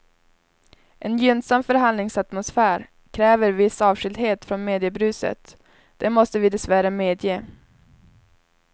En gynnsam förhandlingsatmosfär kräver viss avskildhet från mediebruset, det måste vi dessvärre medge.